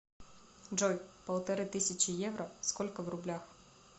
джой полторы тысячи евро сколько в рублях